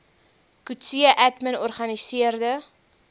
coetzee admin organiseerde